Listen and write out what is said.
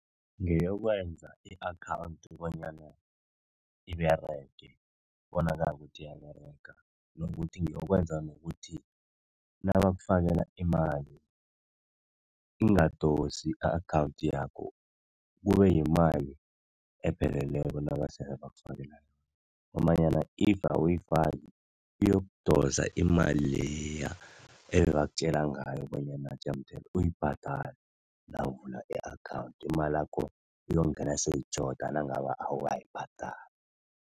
Ngeyokwenza i-akhawundi bonyana iberege kubonakale ukuthi iyaberega, nokuthi nokwenza nokuthi nabakufakela imali, ingadosi i-akhawundi yakho kube yimali epheleleko nabasele bakufakela ngombanyana if awuyifaki, iyokudosa imali leya ebabakutjela ngayo bonyana jemde uyibhadale nawuvula i-akhawundi. Imalakho iyokungena sele itjhoda nangabe awukayibhadali.